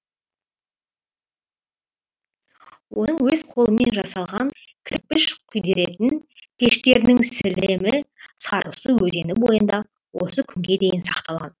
оның өз қолымен жасалған кірпіш күйдіретін пештерінің сілемі сарысу өзені бойында осы күнге дейін сақталған